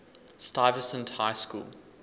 stuyvesant high school